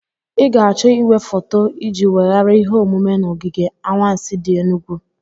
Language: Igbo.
Ị ga-achọ igwefoto iji weghara ihe omume na ogige anwansi di enugu.